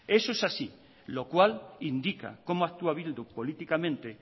eso es así lo cual indica cómo actúa bildu políticamente